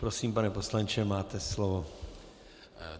Prosím, pane poslanče, máte slovo.